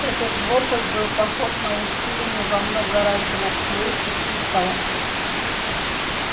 этот вопль был похож на усиленный во много раз звук флейты пикколо